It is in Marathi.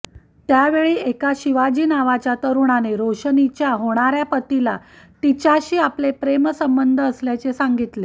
त्यावेळी एका शिवाजी नावाच्या तरुणाने रोशनीच्या होणाऱ्या पतीला तिच्याशी आपले प्रेमसंबंध असल्याचे सांगितले